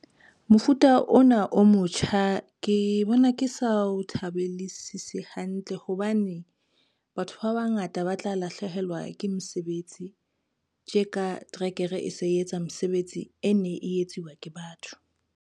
Mofuta ona o motjha ke bona ke sa o thabelesisi hantle, hobane batho ba bangata ba tla lahlehelwa ke mesebetsi, tje ka trekere e se e etsa mesebetsi e ne e etsuwa ke batho.